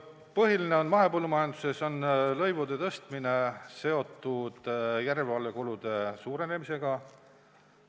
Põhiline on, et mahepõllumajanduses on lõivude tõstmine seotud järelevalvekulude suurenemisega.